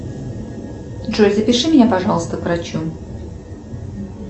джой запиши меня пожалуйста к врачу